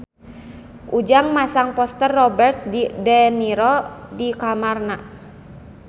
Ujang masang poster Robert de Niro di kamarna